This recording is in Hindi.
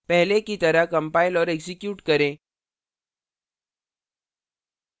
पहले की तरह कंपाइल और एक्जीक्यूट करें